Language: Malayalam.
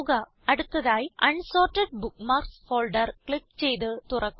അടുത്തതായി അൻസോർട്ടഡ് ബുക്ക്മാർക്സ് ഫോൾഡർ ക്ലിക്ക് ചെയ്ത് തുറക്കുക